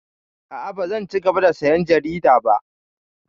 A'a, bazan cigaba da sayan jarida ba.